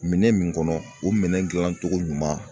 Minɛn min kɔnɔ o minɛ gilancogo ɲuman